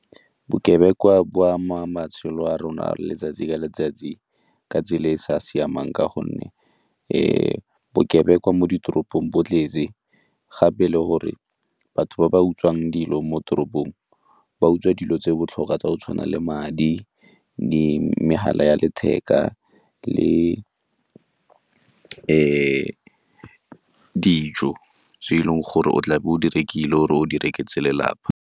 Bokebekwa bo ama matshelo a rona letsatsi le letsatsi ka tsela e e sa siamang ka gonne bokebekwa mo ditoropong bo tletse gape le gore batho ba ba utswang dilo mo toropong ba utswa dilo tse di botlhokwa tsa go tshwana le madi, megala ya letheka le dijo tse e leng gore o tlabe o di rekile o re o di rekisetse lelapa.